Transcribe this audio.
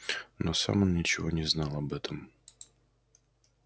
но сам он ничего не знал об этом